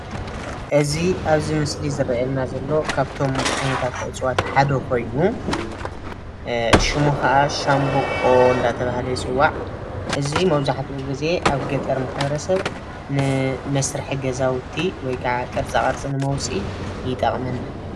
እዚ ኣብዚ ምስሊ ዝረኤየና ዘሎ ካብቶም ዓይነታት እፅዋት ሓደ ኮይኑ ሽሙ ከዓ ሻንቦቆ እንዳተባሃለ ይፅዋዕ። እዚ መብዛሕቲኡ ግዜ ኣብ ገጠር ማሕበረሰብ ንመስርሒ ገዛውቲ ወይ ከዓ ቅርፃቅርፂ ንምውፃእ ይጠቅመና።